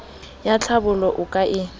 ya tlhabollo o ka e